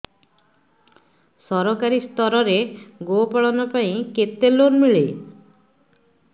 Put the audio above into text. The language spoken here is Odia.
ସରକାରୀ ସ୍ତରରେ ଗୋ ପାଳନ ପାଇଁ କେତେ ଲୋନ୍ ମିଳେ